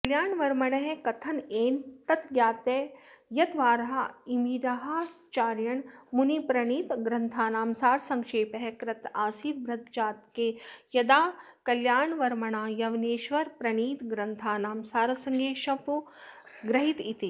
कल्याणवर्मणः कथनेनैतज्ज्ञायते यद्वराहमिहिराचार्येण मुनिप्रणीतग्रन्थानां सारसङ्क्षेपः कृत आसीद् बृहज्जातके यदा कल्याणवर्मणा यवनेश्वरादिप्रणीतग्रन्थानां सारसङ्क्षेपो गृहीत इति